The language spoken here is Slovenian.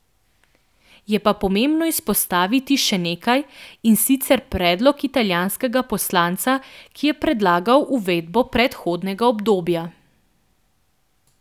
Je pa pomembno izpostaviti še nekaj, in sicer predlog italijanskega poslanca, ki je predlagal uvedbo prehodnega obdobja.